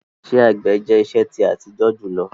Ìṣẹ̀ àgbẹ̀ jẹ̀ ìṣẹ̀ ti àtíjọ júlọ